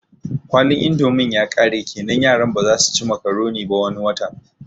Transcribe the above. Kwalin indomin yakare kenan yaran bazasu ci makuroni ba wani watan